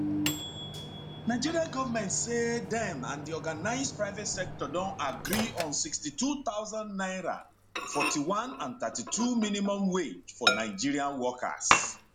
nigeria goment say dem and di organised private sector don agree on 62000 naira 41 and 32 minimum wage for nigeria workers